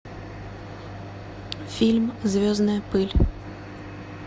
фильм звездная пыль